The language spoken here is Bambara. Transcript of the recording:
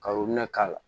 Ka k'a la